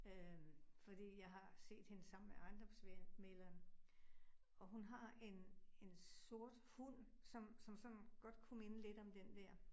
Øh fordi jeg har set hende sammen med ejendomsmægleren. Og hun har en en sort hund, som som sådan godt kunne minde lidt om den dér